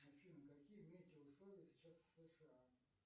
афина какие метеоусловия сейчас в сша